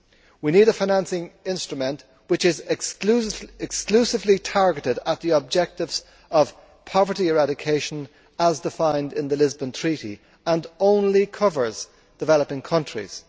We need a financing instrument which is exclusively targeted at the objectives of poverty eradication as defined in the Lisbon Treaty and which only covers developing countries.